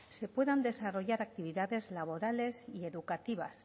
se puedan desarrollar actividades y educativas